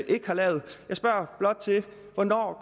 ikke har lavet jeg spørger blot til hvornår